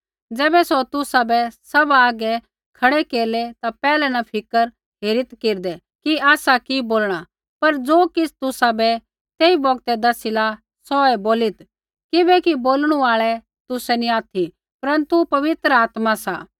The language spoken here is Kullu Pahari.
ज़ैबै सौ तुसाबै सभा हागै खड़ै केरलै ता पैहलै न फ़िक्र हेरित् केरदै कि आसा कि बोलणा पर ज़ो किछ़ तुसाबै तेई बौगतै दसिला सौहै बोलीत् किबैकि बोलणु आल़ै तुसै नी ऑथि परन्तु पवित्र आत्मा सा